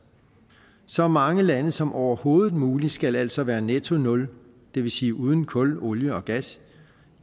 så mange lande som overhovedet muligt skal altså være netto nul det vil sige uden kul olie og gas